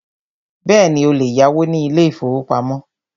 Bẹ́ẹ̀ni, o lè yáwó ní ilé ìfọwọ́pamo.